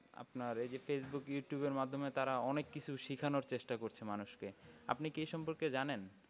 আপনার এই যে ফেইসবুক ইউটিউব এর মাধমে তারা অনেক কিছু শিখানোর চেষ্টা করছে মানুষ কে আপনি কী এই সম্পর্কে জানেন?